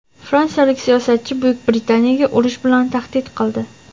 Fransiyalik siyosatchi Buyuk Britaniyaga urush bilan tahdid qildi.